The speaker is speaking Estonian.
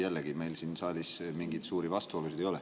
Jällegi, meil siin saalis mingeid suuri vastuolusid ei ole.